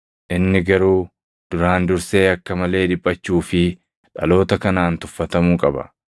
Inni garuu duraan dursee akka malee dhiphachuu fi dhaloota kanaan tuffatamuu qaba.